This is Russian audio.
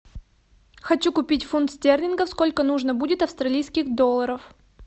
хочу купить фунт стерлингов сколько нужно будет австралийских долларов